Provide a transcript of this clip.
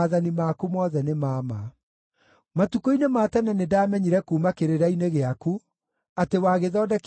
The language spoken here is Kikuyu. Matukũ-inĩ ma tene nĩndamenyire kuuma kĩrĩra-inĩ gĩaku, atĩ wagĩthondekire kĩrĩ gĩa gũtũũra nginya tene.